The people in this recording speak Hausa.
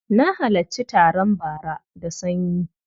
Na halarci taron bara da sanyi.